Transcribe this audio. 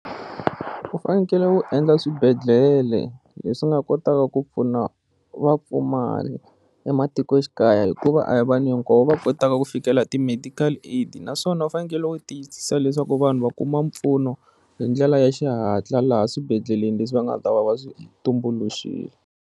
U fanekele ku endla swibedhlele leswi nga kotaka ku pfuna vapfumari ematikoxikaya hikuva a hi vanhu hinkwavo va kotaka ku fikela ti-medical aid naswona u fanekele ku tiyisisa leswaku vanhu va kuma mpfuno hi ndlela ya xihatla laha swibedhleleni leswi va nga ta va va swi tumbuluxile.